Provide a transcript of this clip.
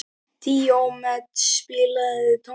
Díómedes, spilaðu tónlist.